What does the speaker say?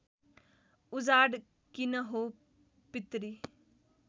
उजाड किन हो पितृ